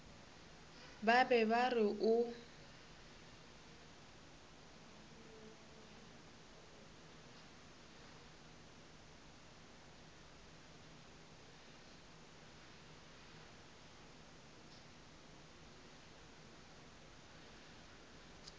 ba be ba re o